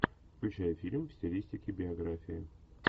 включай фильм в стилистике биография